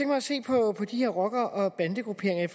mig at se på de her rocker og bandegrupperinger